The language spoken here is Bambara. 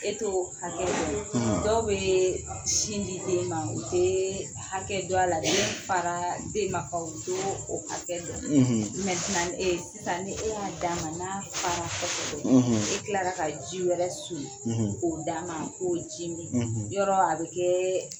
E to hakɛ dɔ dɔw bɛ sin di den ma u tɛ hakɛ dɔn a la n'a fara den ma u t'o hakɛ dɔn e sisan n'e y'a d'a ma n'a fara kosɛbɛ e tilara ka ji wɛrɛ soli k'o d'a ma a k'o ji min yɔrɔ a bɛ kɛ